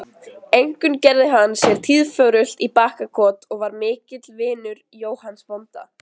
Einkum gerði hann sér tíðförult í Bakkakot og var mikill vinur Jóhanns bónda.